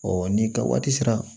ni ka waati sera